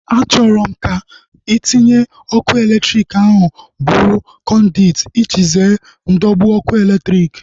Achọrọ m ka ntinye ọkụ elektriki ahu bụrụ kọnduit iji zere ndọgbu ọkụ elektriki